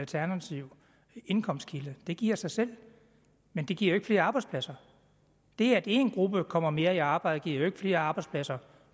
alternativ indkomstkilde det giver sig selv men det giver jo ikke flere arbejdspladser det at én gruppe kommer mere i arbejde giver jo ikke flere arbejdspladser